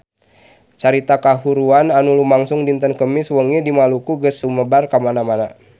Carita kahuruan anu lumangsung dinten Kemis wengi di Maluku geus sumebar kamana-mana